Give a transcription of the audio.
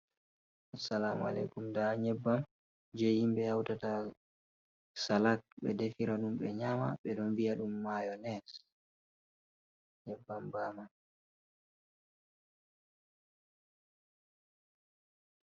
Asalamu aleikum, nda nyebbam je himɓe hautata salak ɓe defiradum ɓe nyama, ɓe don vi'a dum mayones nyebbam bama.